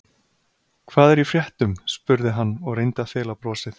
Hvað er í fréttum? spurði hann og reyndi að fela brosið.